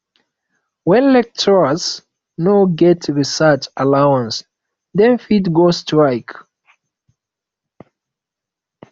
when lecturers no get research allowance dem fit go strike